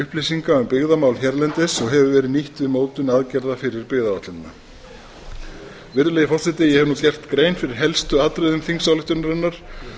upplýsinga um byggðamál hérlendis og hefur verið nýtt við mótun aðgerða fyrir byggðaáætlunina virðulegi forseti ég hef nú gert grein fyrir helstu atriðum þingsályktunarinnar